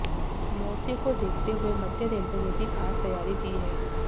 मोर्चे को देखते हुए मध्य रेलवे ने भी खास तैयारी की है